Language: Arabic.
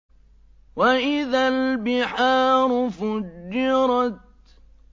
وَإِذَا الْبِحَارُ فُجِّرَتْ